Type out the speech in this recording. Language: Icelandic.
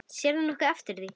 Sérðu nokkuð eftir því?